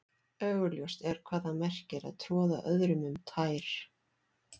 Augljóst er hvað það merkir að troða öðrum um tær.